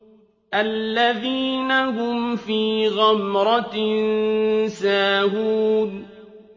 الَّذِينَ هُمْ فِي غَمْرَةٍ سَاهُونَ